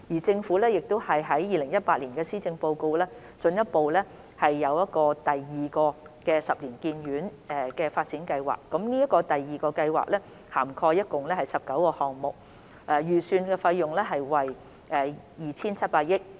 政府於2018年施政報告進一步宣布第二個十年醫院發展計劃，該計劃涵蓋共19個項目，預算費用為 2,700 億元。